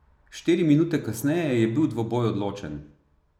Štiri minute kasneje je bil dvoboj odločen.